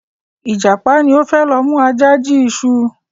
Ìjàpá ni o fẹ lo mu Aja jí iṣu